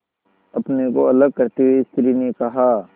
अपने को अलग करते हुए स्त्री ने कहा